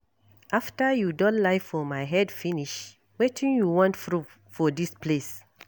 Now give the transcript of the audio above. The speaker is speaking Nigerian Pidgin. After you don lie for my head finish wetin you wan proof for dis place?